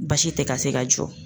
Baasi tɛ ka se ka jɔ.